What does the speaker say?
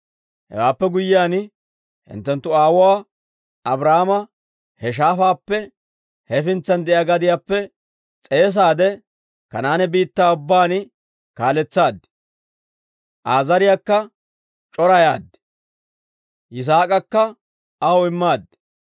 Hewaappe guyyiyaan hinttenttu aawuwaa Abrahaama, he shaafaappe hefintsan de'iyaa gadiyaappe s'eesaadde, Kanaane biittaa ubbaan kaaletsaad. Aa zariyaakka c'orayaad; Yisaak'akka aw immaad.